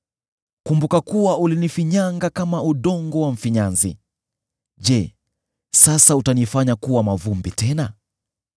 Kumbuka kuwa ulinifinyanga kama udongo wa mfinyanzi. Je, sasa utanifanya kuwa mavumbi tena?